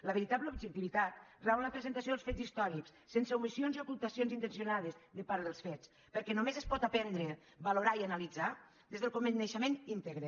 la veritable objectivitat rau en la presentació dels fets històrics sense omissions i ocultacions intencionades de part dels fets perquè només es pot aprendre valorar i analitzar des del coneixement íntegre